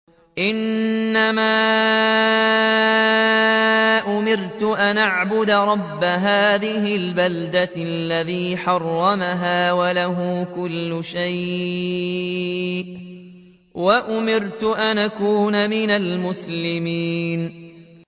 إِنَّمَا أُمِرْتُ أَنْ أَعْبُدَ رَبَّ هَٰذِهِ الْبَلْدَةِ الَّذِي حَرَّمَهَا وَلَهُ كُلُّ شَيْءٍ ۖ وَأُمِرْتُ أَنْ أَكُونَ مِنَ الْمُسْلِمِينَ